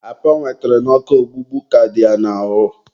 apa ọ nwetara n'ọkụ ọgbụgba ka dị ya n'ahụ.